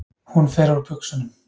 Hún fer úr buxunum.